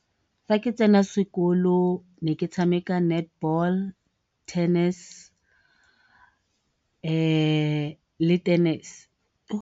Fa ke tsena sekolo ne ke tshameka netball, tennis, le tennis.